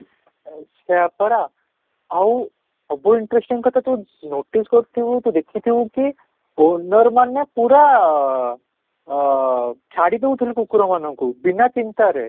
ଆଚ୍ଛା ପରା ଆଉ ଅବୁ interesting କଥା ତ notice କରିଥିବୁ ତୁ ଦେଖି ଥିବୁ କି owner ମାନେ ପୁରା ଆଃ ଛାଡି ଦେଉଥିଲେ କୁକୁର ମାନଙ୍କୁ ବିନା ଚିନ୍ତାରେ